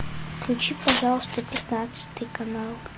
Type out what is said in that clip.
включи пожалуйста пятнадцатый канал